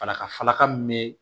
Falaka falaka min bɛ